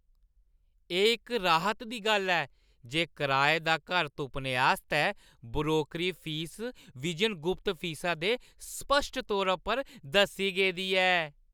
एह् इक राहत दी गल्ल ऐ जे कराए दा घर तुप्पने आस्तै ब्रोकरी फीस बिजन गुप्त फीसा दे स्पश्ट तौरा पर दस्सी गेदी ऐ।